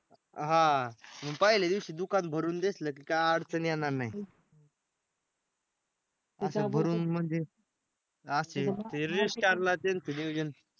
हां मग पहिल्या दिवशी दुकान भरून दिसलं की काय अडचण येणार नाही.